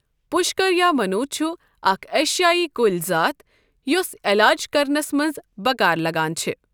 پۄشکر یا مَنۆ چھُ اَکھ ایشیٲیی کُلۍ زاتھ یۄس یَلاج کرنس مَنٛز بکار لگان چھ۔